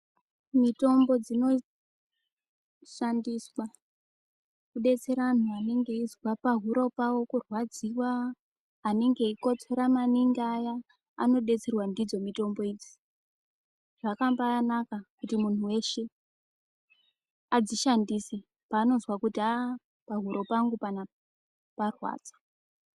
Mitombo dzinoshandiswa kudetsera anhu anenge eizwa pahuro pawo kurwadziwa, anenge veikotsora maningi aya anodetserwa ndidzo mitombo idzi. Zvakambanaka kuti munhu weshe adzishandise panozwa kuti haa pahuro pangu panapa parwadza.